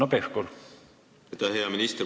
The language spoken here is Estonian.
Aitäh, hea minister!